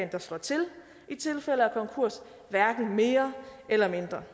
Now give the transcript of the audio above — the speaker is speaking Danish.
der slår til i tilfælde af konkurs hverken mere eller mindre